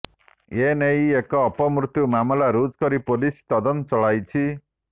ଏ ନେଇ ଏକ ଅପମୃତ୍ୟୁ ମାମଲା ରୁଜୁ କରି ପୁଲିସ ତଦନ୍ତ ଚଳାଇଛି